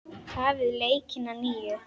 Hafið leikinn að nýju.